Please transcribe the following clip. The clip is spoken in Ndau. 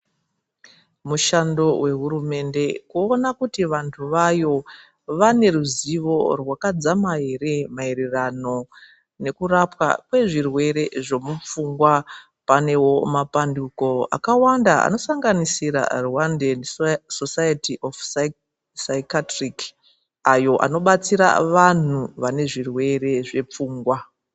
mishandi vehurumende kuona kuti vantu vayo vaneruzivo rwakadzama ere maererano nekurapa kwezvirwere zvemupfungwa. Panevo papandiko akawanda anosanganisira rwandeni sosaiti saikaitiriki, ayo anobatsira vantu vane zvirwere zvepfungwa.